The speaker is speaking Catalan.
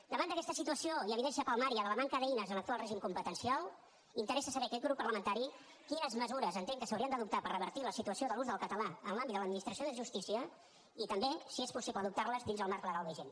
davant d’aquesta situació i evidència palmària de la manca d’eines a l’actual règim competencial interessa saber a aquest grup parlamentari quines mesures entén que s’haurien d’adoptar per revertir la situació de l’ús del català en l’àmbit de l’administració de justícia i també si és possible adoptar les dins el marc legal vigent